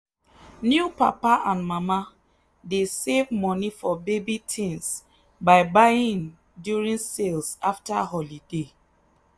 new papa and mama dey save money for baby things by buying during sales after holiday.